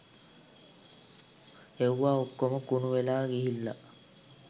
එව්වා ඔක්කොම කුණු වෙලා ගිහිල්ලා